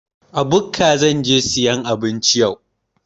A bukka zan je sayan abinci yau.